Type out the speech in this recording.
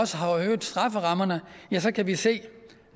øget strafferammerne så kan vi se